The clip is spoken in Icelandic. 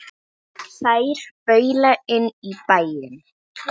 Þær baula inn í bæinn.